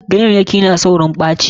Ganyayyaki na tsaurin ɓacewa.